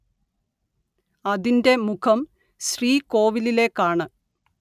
അതിന്റെ മുഖം ശ്രീകോവിലിലേക്കാണ്‌‍